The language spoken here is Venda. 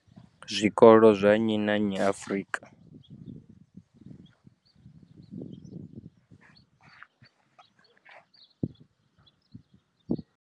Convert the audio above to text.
Zwikolo zwa nnyi na nnyi Afrika.